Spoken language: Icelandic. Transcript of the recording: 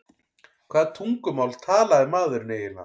Hvaða tungumál talaði maðurinn eiginlega?